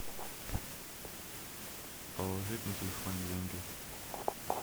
положить на телефон деньги